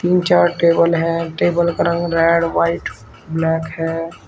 तीन चार टेबल है टेबल का रंग रेड व्हाइट ब्लैक है।